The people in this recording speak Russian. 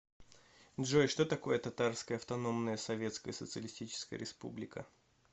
джой что такое татарская автономная советская социалистическая республика